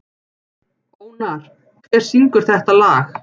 Ónar, hver syngur þetta lag?